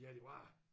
Ja det var